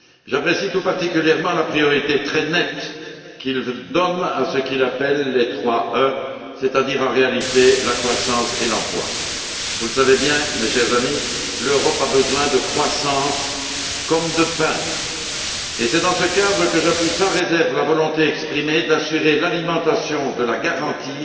J'apprécie tout particulièrement la priorité très nette qu'il donne à ce qu'il appelle les trois E, c'est à dire en réalité la croissance et l'emploi. Mes chers amis, vous le savez bien, l'Europe a besoin de croissance comme de pain, et c'est dans ce cadre que j'appuie sans réserve la volonté exprimée d'assurer l'alimentation de la garantie